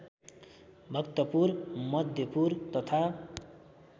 भक्तपुर मध्यपुर तथा